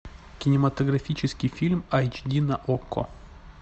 кинематографический фильм айч ди на окко